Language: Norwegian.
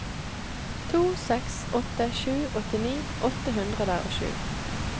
to seks åtte sju åttini åtte hundre og sju